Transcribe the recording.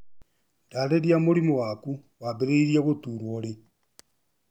Ndarĩria mũrimũ waku waambĩrĩirie gũturwo rĩ